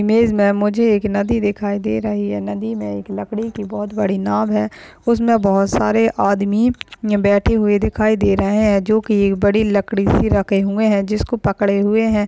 Image मे मुझे एक नदी दिखाई दे रही है। नदी मे लकड़ी की एक बहुत बड़ी नाव है। उसमे बहुत सारे आदमी बैठे अह हुए दिखाई दे रहे है। जो की बड़ी सी लकडी सी रखे हुए है। जिसको पकड़े हुए है।